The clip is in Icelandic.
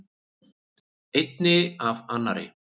Einni af annarri.